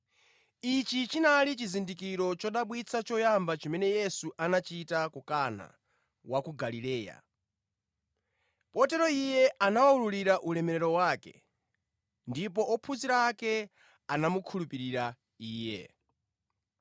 Ichi chinali chizindikiro chodabwitsa choyamba chimene Yesu anachita ku Kana wa ku Galileya. Potero Iye anawulula ulemerero wake, ndipo ophunzira ake anamukhulupirira Iye.